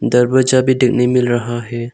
दरवाजा भी देखने को मिल रहा है।